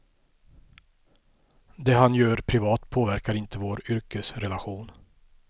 Det han gör privat påverkar inte vår yrkesrelation.